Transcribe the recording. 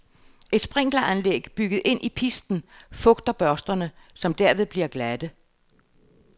Et sprinkleranlæg bygget ind i pisten fugter børsterne, som derved bliver glatte.